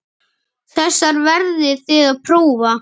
Þessar verðið þið að prófa.